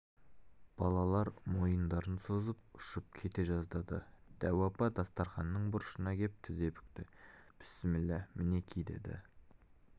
балалар мойындарын созып ұшып кете жаздады дәу апа дастарқанның бұрышына кеп тізе бүкті бісміллә мінеки деді